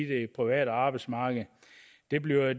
det private arbejdsmarked det bliver